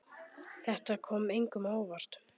Þetta kom engum á óvart.